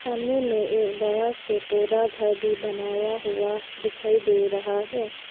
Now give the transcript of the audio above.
सामने में एक बड़ा सा पौधा घर भी बनाया हुआ दिखाई दे रहा है।